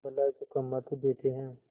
भलाई को कम महत्व देते हैं